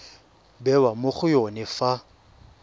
bewa mo go yone fa